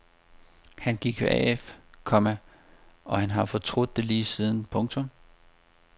Han gik af, komma og han har fortrudt det lige siden. punktum